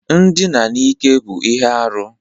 Ndina n'ike bụ ihe arụ.